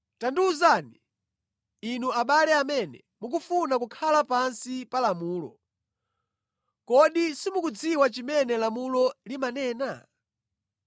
Tandiwuzani, inu, abale amene mukufuna kukhala pansi pa lamulo, kodi simukudziwa chimene lamulo limanena?